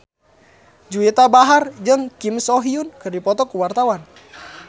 Juwita Bahar jeung Kim So Hyun keur dipoto ku wartawan